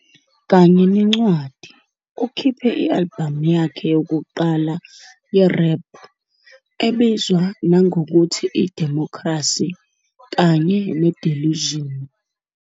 Kanye nencwadi, ukhiphe i-albhamu yakhe yokuqala ye-rap, ebizwa nangokuthi iDemocracy kanye neDelusion.